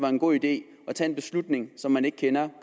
er en god idé at tage en beslutning som man ikke kender